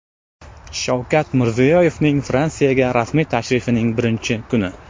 Shavkat Mirziyoyevning Fransiyaga rasmiy tashrifining birinchi kuni .